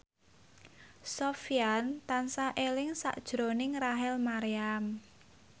Sofyan tansah eling sakjroning Rachel Maryam